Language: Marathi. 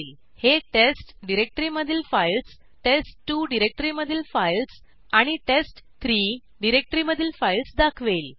हे टेस्ट डिरेक्टरीमधील फाईल्स टेस्ट2 डिरेक्टरीमधील फाईल्स आणि टेस्ट3 डिरेक्टरीमधील फाईल्स दाखवेल